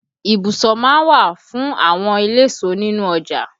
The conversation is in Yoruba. Ibùsọ má ń wà fún àwọn eléso nínú ọjà